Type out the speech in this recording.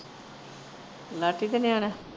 ਲਾਟੀ ਦੇ ਨਿਆਣਿਆ।